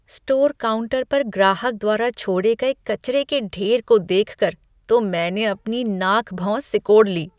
Store counter पर ग्राहक द्वारा छोड़े गए कचरे के ढेर को देखकर तो मैंने अपनी नाक भौं सिकोड़ ली।